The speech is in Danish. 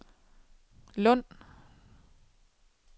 Lund